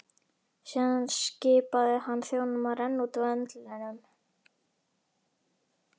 Síðan skipaði hann þjónunum að renna út vöndlinum.